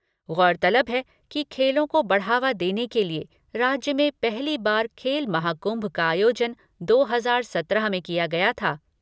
गौरतलब है कि खेलों को बढ़ावा देने के लिए राज्य में पहली बार खेल महाकुम्भ का आयोजन दो हजार सत्रह में किया गया था।